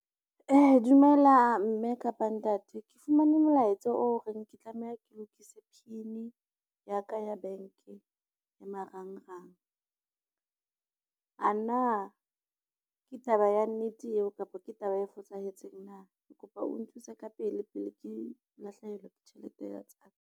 Dumela mme kapa ntate ke fumane molaetsa o reng ke tlameha ke lokise PIN ya ka ya bank-e ya marangrang. A na ke taba ya nnete eo kapa ke taba e fosahetseng na? Ke kopa o nthuse ka pele, pele ke lahlehelwa ke tjhelete ya .